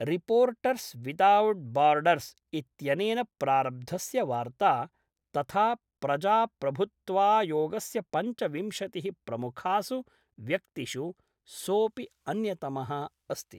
Reporters without borders इत्यनेन प्रारब्धस्य वार्त्ता तथा प्रजाप्रभुत्वायोगस्य पञ्चविंशतिः प्रमुखासु व्यक्तिषु सोपि अन्यतमः अस्ति।